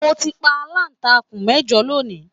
Mo ti pa alantakun mẹjọ lónì.